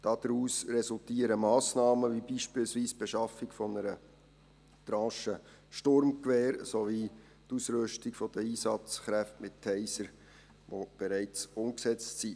Daraus resultieren Massnahmen, wie beispielsweise die Beschaffung einer Tranche Sturmgewehre sowie die Ausrüstung der Einsatzkräfte mit Tasern, die bereits umgesetzt sind.